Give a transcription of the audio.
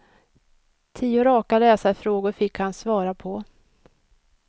Tio raka läsarfrågor fick han svara på.